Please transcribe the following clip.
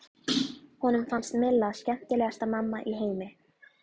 Honum fannst Milla skemmtilegasta mamma í heimi.